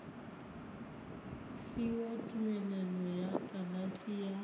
fiwa tumelelo ya kalafi ya